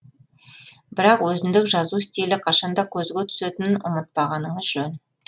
бірақ өзіндік жазу стилі қашанда көзге түсетінін ұмытпағаныңыз жөн